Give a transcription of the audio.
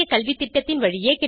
மேலதிக தகவல்களுக்கு இங்கே செல்க